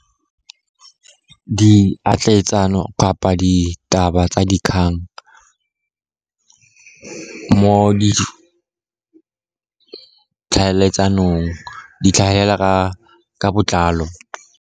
Di atletsano kapa ditaba tsa dikgang mo di tlhaeletsanong di tlhagelela ka botlalo.